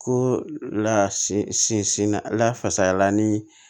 Ko la sinsin na lafasayala ni